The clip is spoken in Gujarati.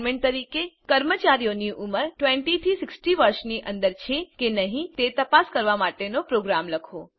એસાઈનમેન્ટ તરીકે કર્મચારીઓની ઉંમર 20 થી 60 વર્ષની અંદર છે કે નહી તે તપાસ કરવા માટેનો પ્રોગ્રામ લખો